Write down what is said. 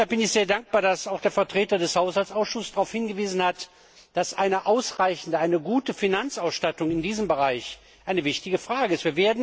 Deshalb bin ich sehr dankbar, dass auch der Vertreter des Haushaltsausschusses darauf hingewiesen hat, dass eine ausreichende Finanzausstattung in diesem Bereich eine wichtige Frage ist.